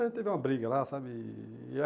Ah, teve uma briga lá, sabe? E